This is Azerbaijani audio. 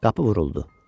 Qapı vuruldu.